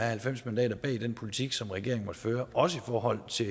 halvfems mandater bag den politik som regeringen måtte føre også i forhold til